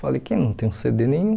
Falei que não tenho cê dê nenhum.